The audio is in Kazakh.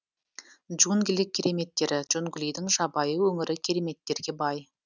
джунгли кереметтері джунглидің жабайы өңірі кереметтерге бай